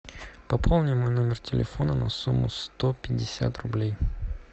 пополни мой номер телефона на сумму сто пятьдесят рублей